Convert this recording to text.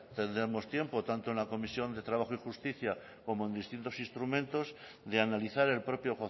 tendremos tiempo tanto en la comisión de trabajo y justicia como en distintos instrumentos de analizar el propio